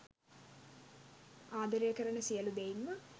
ආදරය කරන සියලූ දෙයින්ම